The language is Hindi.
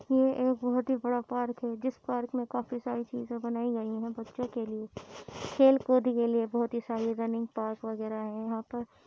यह एक बोहोत ही बड़ा पार्क है जिस पार्क मे काफी सारी चीज़े बनाई गई है बच्चो के लिए खेल कूद के लिए बोहोत ही सारी रनिंग पार्क वगेरा है यहाँ पर --